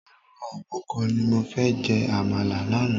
Ẹran òbúkọ ni mo fi jẹ àmàlà lánàá.